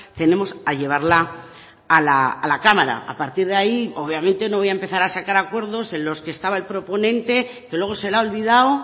tenemos a llevarla a la cámara a partir de ahí obviamente no voy a empezar a sacar acuerdos en los que estaba el proponente que luego se le ha olvidado